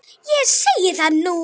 Ég segi það nú!